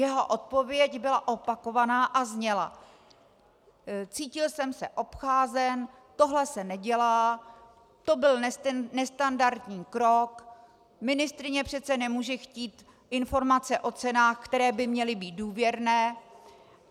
Jeho odpověď byla opakovaná a zněla: Cítil jsem se obcházen, tohle se nedělá, to byl nestandardní krok, ministryně přece nemůže chtít informace o cenách, které by měly být důvěrné.